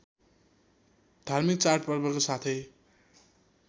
धार्मिक चाडपर्वको साथै